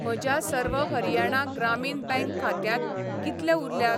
म्हज्या सर्व हरियाणा ग्रामीण बँक खात्यांत कितले उरल्यात?